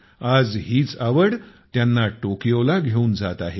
आज हीच आवड त्यांना टोकियोला घेऊन जात आहे